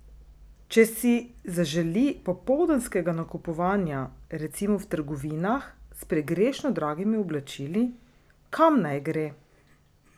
Če si zaželi popoldanskega nakupovanja recimo v trgovinah s pregrešno dragimi oblačili, kam naj gre?